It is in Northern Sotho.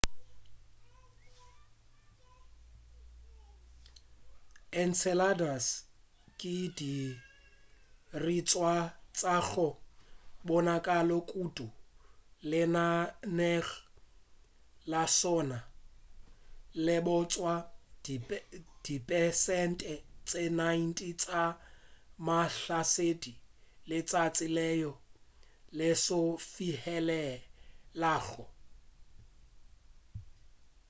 enceladus ke sedirišwa sa go bonala kudu lenaneong la sola le bontšha dipersente tše 90 tša mahlasedi a letšatši leo le se e fihlelago